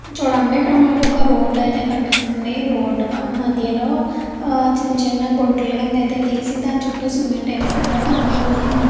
చూడండి ఇక్కడ మనకు ఒక రోడ్డు అయితే కనిపిస్తుంది రోడ్డు మధ్యలోనే చిన్న చిన్న గుంటల్లాగైతే తీసి దాని చుట్టూ సిమెంట్ అయితే కట్టారు అందులో మళ్ళీ --